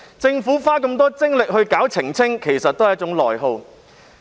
政府花這麼多精力進行澄清，其實是一種內耗。